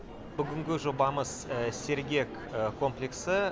бүгінгі жобамыз сергек комплексі